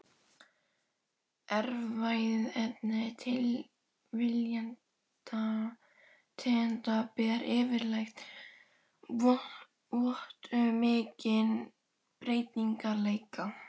Erfðaefni tvílitna tegunda ber yfirleitt vott um mikinn breytileika.